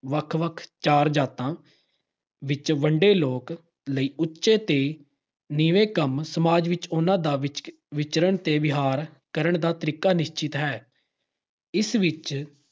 ਵੱਖ-ਵੱਖ ਚਾਰ ਜਾਤਾਂ ਵਿੱਚ ਵੰਡੇ ਲੋਕ ਲਈ ਉਚੇ ਤੇ ਨੀਵੇੇਂ ਕੰਮ ਸਮਾਜ ਵਿਚ ਉਹਨਾਂ ਦਾ ਵਿਚ ਅਹ ਵਿਚਰਨ ਤੇ ਵਿਹਾਰ ਕਰਨ ਦਾ ਤਰੀਕਾ ਨਿਸ਼ਚਿਤ ਹੈ। ਇਸ ਵਿੱਚ